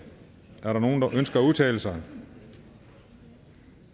er der nogen der ønsker at udtale sig